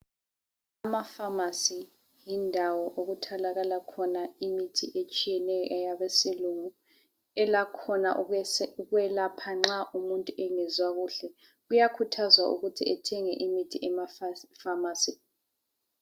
AmaFamasi yindawo okutholakala khona imithi etshiyeneyo eyabesilungu. Elakhona ukwelapha nxa umuntu engezwa kuhle. Kuyakhuthazwa ukuthi ethenge imithi emaFamasi.